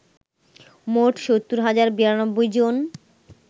মোট ৭০ হাজার ৯২ জন